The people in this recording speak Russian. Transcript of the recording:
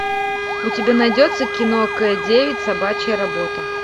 у тебя найдется кино к девять собачья работа